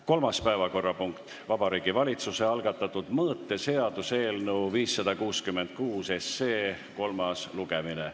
Kolmas päevakorrapunkt: Vabariigi Valitsuse algatatud mõõteseaduse eelnõu 566 kolmas lugemine.